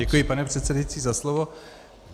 Děkuji, pane předsedající, za slovo.